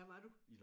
Hvad var du?